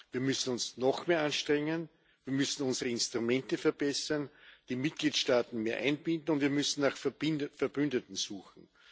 Wir müssen uns noch mehr anstrengen, wir müssen unsere Instrumente verbessern, die Mitgliedstaaten mehr einbinden, und wir müssen nach Verbündeten suchen.